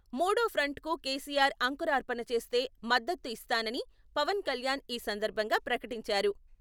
మూడో ఫ్రంట్ కు కేసీఆర్ అంకురార్పణ చేస్తే మద్దతు ఇస్తానని పవన్ కళ్యాణ్ ఈ సందర్భంగా ప్రకటించారు.